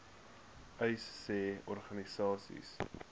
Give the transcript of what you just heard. uys sê organisasies